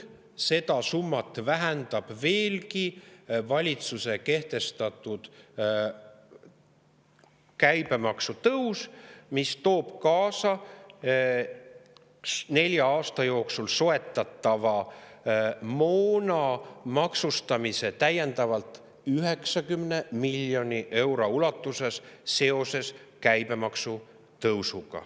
Seda summat vähendab veelgi valitsuse kehtestatud käibemaksu tõus, mis toob nelja aasta jooksul kaasa soetatava moona maksustamise täiendavalt 90 miljoni euro ulatuses.